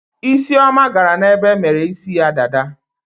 Isioma gara n'ebe emere isi ya dada.